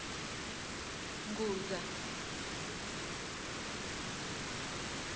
ngudza